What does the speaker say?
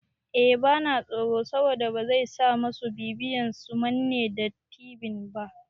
Eh bana tsoro saboda bazai sa masu bibiyan su manne da tibin ba